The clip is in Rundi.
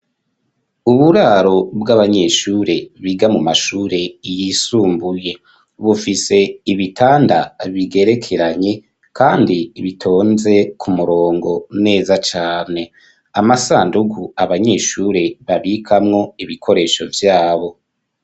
Uburaro bw'abanyeshure biga mu mashure yisumbuye bufise ibitanda bigerekeranye, kandi bitonze ku murongo neza cane amasanduku abanyeshure babikamwo ibikoresho vyabo.